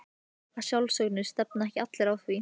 Að sjálfsögðu, stefna ekki allir að því?